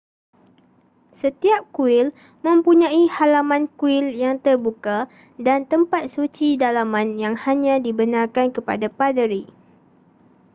setiap kuil mempunyai halaman kuil yang terbuka dan tempat suci dalaman yang hanya dibenarkan kepada paderi